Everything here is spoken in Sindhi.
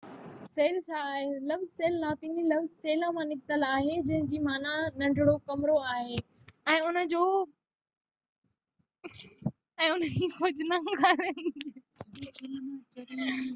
سيل ڇا آهي؟ لفظ سيل لاطيني لفظ سيلا مان نڪتل آهي جنهن جي معنيٰ ننڍو ڪمرو آهي، ۽ ان جو کوجنا ڪارڪ جي بناوٽ تي غور ڪري پهريون ڀيرو خوردبيني ماهر ڪئي